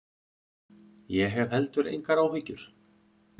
Ég hef heldur engar áhyggjur.